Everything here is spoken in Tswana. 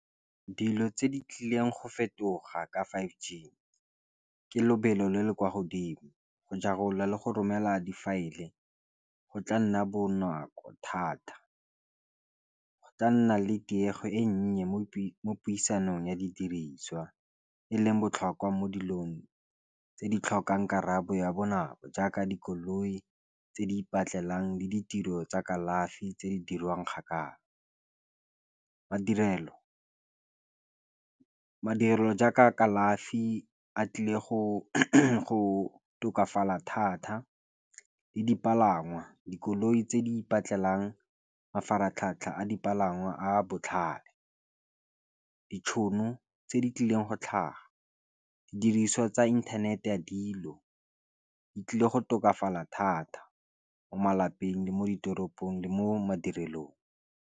Dilo tse di tlileng go fetoga ka five g ke lobelo le le kwa godimo go ja karolo le go romela difaele go tla nna bonako thata go tla nna le tiego e nnye mo puisanong ya di diriswa e leng botlhokwa mo dilong tse di tlhokang karabo ya bonako jaaka dikoloi tse di ipatlele jang le ditiro tsa kalafi tse di dirwang kgakala madirelo jaaka kalafi a tlile go tokafala thata le dipalangwa dikoloi tse di ipatlele mafaratlhatlha a dipalangwa a botlhale ditšhono tse di tlileng go tlhaga didiriswa tsa inthanete ya dilo di tlile go tokafala thata mo malapeng le mo ditoropong le mo madirelong.